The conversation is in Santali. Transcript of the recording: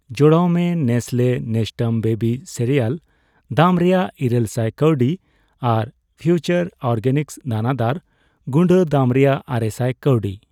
ᱡᱚᱲᱟᱣ ᱢᱮ ᱱᱮᱥᱞᱮ ᱱᱮᱥᱴᱟᱢ ᱵᱮᱵᱤ ᱥᱮᱨᱮᱟᱞ ᱫᱟᱢ ᱨᱮᱭᱟᱜ ᱤᱨᱟᱹᱞ ᱥᱟᱭ ᱠᱟᱹᱣᱰᱤ ᱟᱨ ᱯᱷᱤᱣᱪᱟᱨ ᱚᱨᱜᱮᱱᱤᱠᱥ ᱫᱟᱱᱟᱫᱟᱨ ᱜᱩᱰᱟᱹ ᱫᱟᱢ ᱨᱮᱭᱟᱜ ᱟᱨᱮᱥᱟᱭ ᱠᱟᱹᱣᱰᱤ ᱾